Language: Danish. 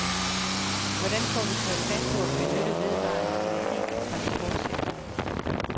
Hvordan får vi taget fat på at benytte vedvarende energi i transportsektoren.